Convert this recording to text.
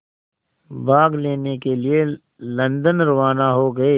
भाग लेने के लिए लंदन रवाना हो गए